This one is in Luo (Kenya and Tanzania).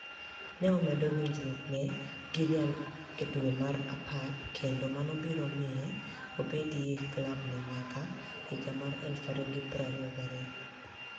ni e omedo winijruokni e gi Real e dwe mar apar kenido mano biro miye obedie e klabno niyaka 2022.